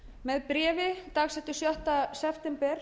með bréfi dagsettu sjötta september